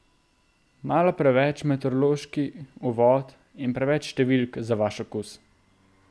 Malo preveč meteorološki uvod in preveč številk za vaš okus?